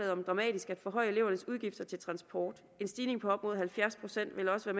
om dramatisk at forhøje elevernes udgifter til transport en stigning på op mod halvfjerds procent vil også